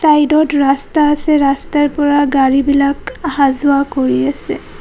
Side ত ৰাস্তা আছে ৰাস্তাৰ পৰা গাড়ী বিলাক অহা যোৱা কৰি আছে।